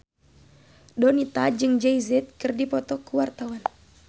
Donita jeung Jay Z keur dipoto ku wartawan